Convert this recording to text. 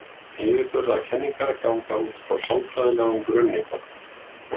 Yfirburðakenningar ganga útfrá sálfræðilegum grunni.